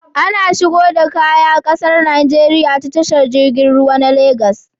Ana shigo da Kaya ƙasar Nigeria ta tashar jirgin ruwa na Lagos